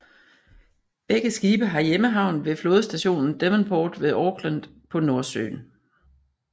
Begge skibe har hjemmehavn ved flådestationen Devonport ved Auckland på Nordøen